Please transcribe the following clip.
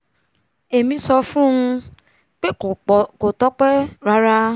èmi sọ fún un pé kò tọ́pẹ́ rárá